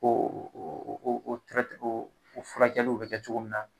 Ko o o furakɛliw bɛ kɛ cogo min na